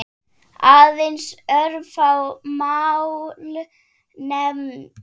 Aðeins örfá mál nefnd.